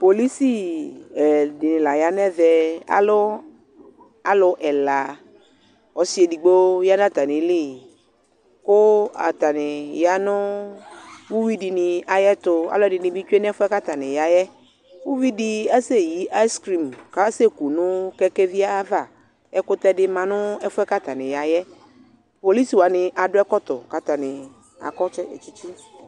polisi ɛdi la yanʋɛmɛ, alʋ alʋ ɛla, ɔsi ɛdigbɔ yanʋ atani li kʋ atani yanʋ ʋwi dini ayɛtʋ, alʋɛdini bi twɛnʋ ɛƒʋɛ kʋ atani yaɛ, ʋvidi asɛ yi ice cream kʋ asɛ kʋnʋ kɛkɛvi ayiava, ɛkʋtɛ di manʋ ɛƒʋɛ kʋ atani yaɛ polisi waniadʋɛkɔtɔ kʋ ataniadʋ kyikyi